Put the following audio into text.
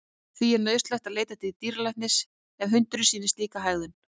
Því er nauðsynlegt að leita til dýralæknis ef hundurinn sýnir slíka hegðun.